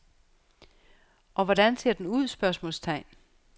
Og hvordan ser den ud? spørgsmålstegn